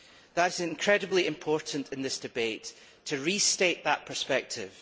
It is incredibly important in this debate to restate that perspective.